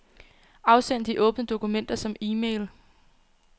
Afsend de åbne dokumenter som e-mail.